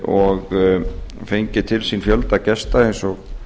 og fengið til sín fjölda gesta eins og